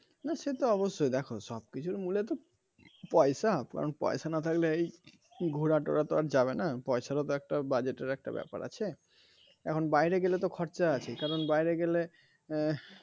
না সে তো অবশ্যই দেখো সব কিছুর মূলে তো পয়সা কারণ পয়সা না থাকলে এই ঘোরাটোরা তো যাবে না পয়সা তো একটা বাজেটের একটা ব্যাপার আছে এখন বাইরে গেলে তো খরচা আছে কারণ বাইরে গেলে আহ